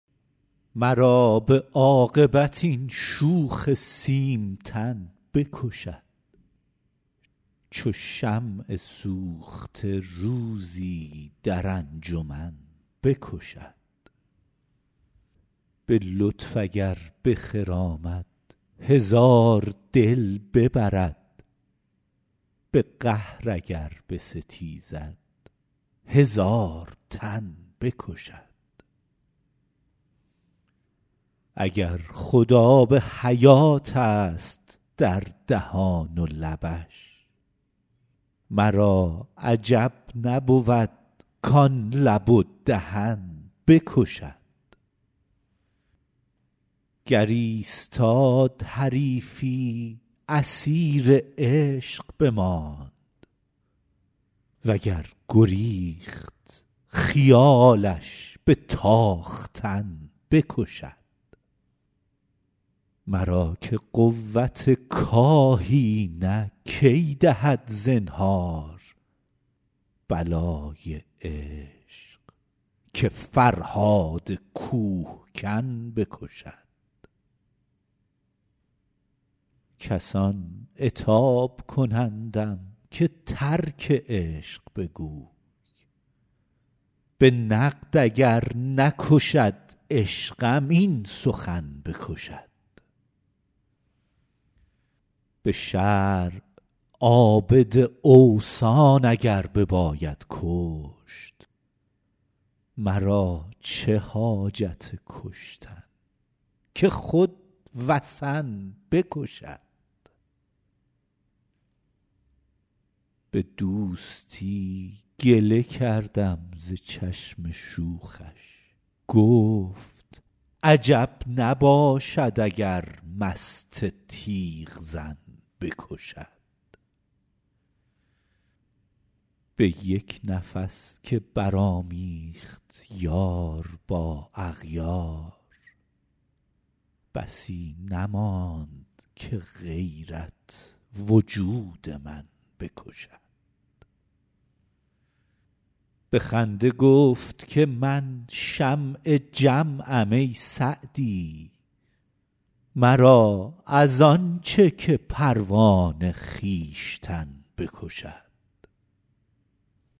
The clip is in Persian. مرا به عاقبت این شوخ سیمتن بکشد چو شمع سوخته روزی در انجمن بکشد به لطف اگر بخرامد هزار دل ببرد به قهر اگر بستیزد هزار تن بکشد اگر خود آب حیاتست در دهان و لبش مرا عجب نبود کان لب و دهن بکشد گر ایستاد حریفی اسیر عشق بماند و گر گریخت خیالش به تاختن بکشد مرا که قوت کاهی نه کی دهد زنهار بلای عشق که فرهاد کوهکن بکشد کسان عتاب کنندم که ترک عشق بگوی به نقد اگر نکشد عشقم این سخن بکشد به شرع عابد اوثان اگر بباید کشت مرا چه حاجت کشتن که خود وثن بکشد به دوستی گله کردم ز چشم شوخش گفت عجب نباشد اگر مست تیغ زن بکشد به یک نفس که برآمیخت یار با اغیار بسی نماند که غیرت وجود من بکشد به خنده گفت که من شمع جمعم ای سعدی مرا از آن چه که پروانه خویشتن بکشد